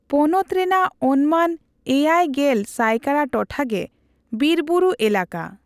ᱯᱚᱱᱚᱛ ᱨᱮᱱᱟᱜ ᱚᱱᱢᱟᱱ ᱮᱭᱟᱭ ᱜᱮᱞ ᱥᱟᱭᱠᱟᱲᱟ ᱴᱚᱴᱷᱟᱜᱮ ᱵᱤᱨᱵᱩᱨᱩ ᱮᱞᱟᱠᱟ ᱾